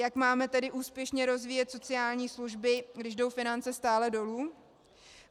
Jak máme tedy úspěšně rozvíjet sociální služby, když jdou finance stále dolů?